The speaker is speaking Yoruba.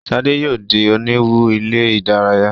Shade yóò dì oniwun ilé-idaraya.